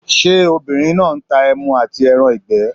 Ṣé obìnrin náà n ta ẹmu àti ẹran ìgbẹ́?